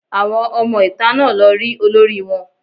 Àwọn ọmọ ìta náà lọ rí olórí wọn